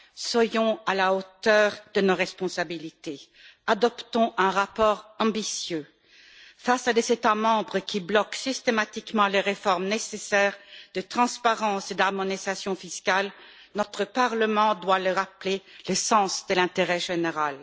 Soyons à la hauteur de nos responsabilités, adoptons un rapport ambitieux face à des États membres qui bloquent systématiquement les réformes nécessaires de transparence et d'harmonisation fiscales. Notre Parlement doit leur rappeler le sens de l'intérêt général.